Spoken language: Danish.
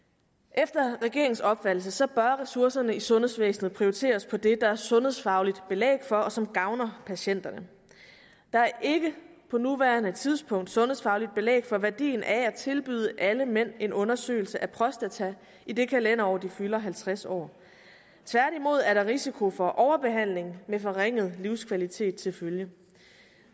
efter regeringens opfattelse bør ressourcerne i sundhedsvæsenet prioriteres på det der er sundhedsfagligt belæg for og som gavner patienterne der er ikke på nuværende tidspunkt sundhedsfagligt belæg for værdien af at tilbyde alle mænd en undersøgelse af prostata i det kalenderår de fylder halvtreds år tværtimod er der risiko for overbehandling med forringet livskvalitet til følge